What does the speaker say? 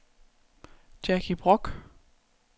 Jackie Broch